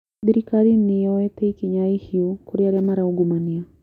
Thirikari nĩ yoete ikinya ihiũ kũrĩ arĩa maraungumania